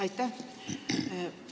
Aitäh!